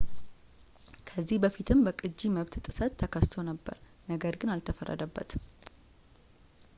ከዚህ በፊትም በቅጂ መብት ጥሰት ተከሶ ነበር ነገር ግን አልተፈረደበትም